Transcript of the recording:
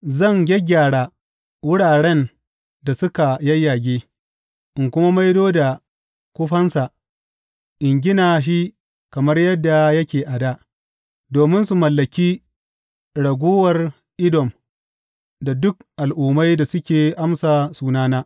Zan gyaggyara wuraren da suka yayyage, in kuma maido da kufansa in gina shi kamar yadda yake a dā, domin su mallaki raguwar Edom da duk al’ummai da suke amsa sunana,